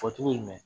Fɔ cogo jumɛn